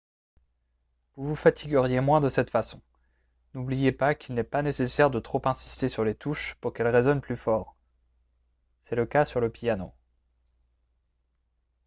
vous vous fatigueriez moins de cette façon n'oubliez pas qu'il n'est pas nécessaire de trop insister sur les touches pour qu'elles résonnent plus fort c'est le cas sur le piano